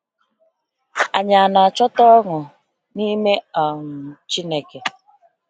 Anyị ọ na-achọta ọṅụ n’ime uche um Chineke?